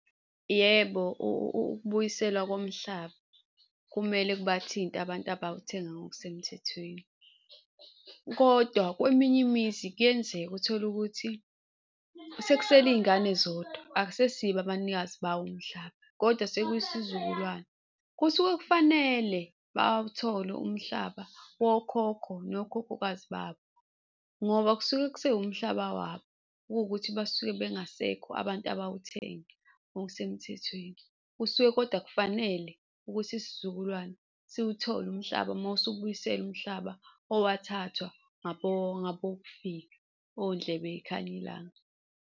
Yebo, ukubuyiselwa komhlaba kumele kubathinte abantu abawuthenga ngokusemthethweni kodwa kweminye imizi kuyenzeka uthole ukuthi sekusele iy'ngane zodwa, akusesibo abanikazi bawo umhlaba kodwa sekuyisizukulwane. Kusuke kufanele bawuthole umhlaba wokhokho nokhokhokazi babo ngoba kusuke kusekuwumhlaba wabo kuwukuthi basuke bengasekho abantu abawuthenga ngokusemthethweni, kusuke kodwa kufanele ukuthi isizukulwane siwuthole umhlaba uma usubuyiselwa umhlaba owathathwa ngabokufika ondlebe yikhanyi ilanga.